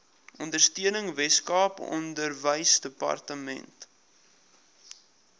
ondersteuning weskaap onderwysdepartement